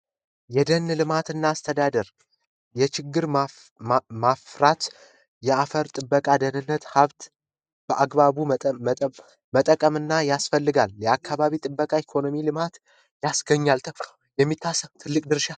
የደን ልማትና አስተዳደር የችግኝ የማፍራት የአፈር ጥበቃና የደን ደህንነት ሀብት በአግባቡ መጠበቅና መጠቀም ያስፈልጋል አካባቢ ጥበቃ የኢኮኖሚ ልማት ያስገኛል ተብሎ የሚታሰብ ትልቅ ድርሻ አለው።